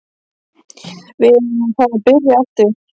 Við erum að fara að byrja aftur.